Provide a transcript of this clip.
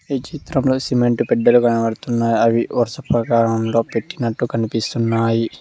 ఈ చిత్రంలో సిమెంటు పెల్లలు కనబడుతున్నాయి అవి వరస క్రమంలో పెట్టినట్టు కనబడుతున్నాయి.